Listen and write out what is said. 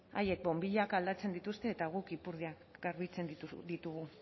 haiek bonbilak aldatzen dituzte eta guk ipurdiak garbitzen ditugu